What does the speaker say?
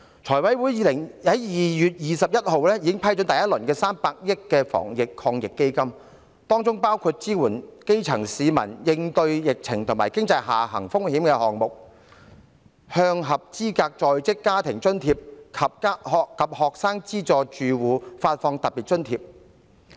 財務委員會在2月21日已批出第一輪為數300億元的防疫抗疫基金，當中包括支援基層市民應對疫情和經濟下行風險的項目，向合資格的在職家庭津貼住戶及學生資助住戶發放特別津貼。